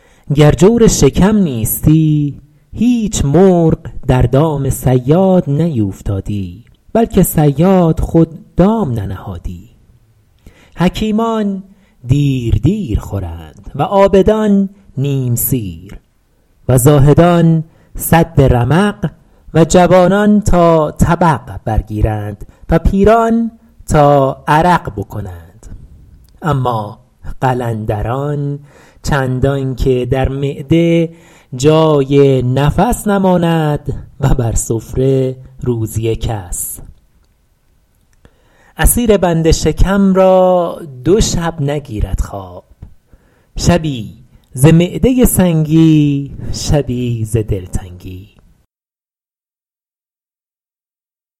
گر جور شکم نیستی هیچ مرغ در دام صیاد نیوفتادی بلکه صیاد خود دام ننهادی حکیمان دیر دیر خورند و عابدان نیم سیر و زاهدان سد رمق و جوانان تا طبق برگیرند و پیران تا عرق بکنند اما قلندران چندان که در معده جای نفس نماند و بر سفره روزی کس اسیر بند شکم را دو شب نگیرد خواب شبی ز معده سنگی شبی ز دلتنگی